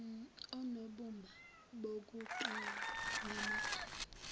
onobumba bokuqala bamagama